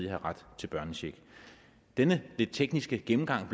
have ret til børnecheck denne lidt tekniske gennemgang